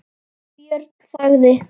Björn þagði.